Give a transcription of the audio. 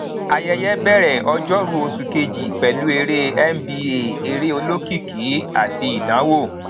ayẹyẹ bẹrẹ ọjọrú oṣù kejì pẹlú eré nba eré olókìkí àti ìdánwò